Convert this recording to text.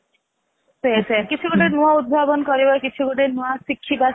ସେଇଆ ସେଇଆ କିଛି ଗୋଟେ ନୂଆ ଉଦ୍ଭାବନ କରିବା କିଛି ଗୋଟେ ନୂଆ ଶିଖିବା